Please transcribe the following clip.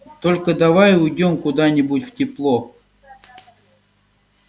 только давай уйдём куда-нибудь в тепло